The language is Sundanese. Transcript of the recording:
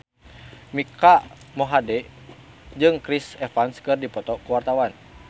Mike Mohede jeung Chris Evans keur dipoto ku wartawan